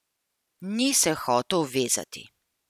Ni se hotel vezati.